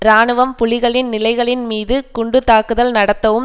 இராணுவம் புலிகளின் நிலைகளின் மீது குண்டு தாக்குதல் நடத்தவும்